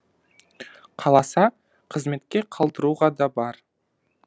қаласа қызметке қалдыруға да бар